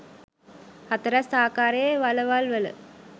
හතරැස් ආකාරයේ වළවල් වල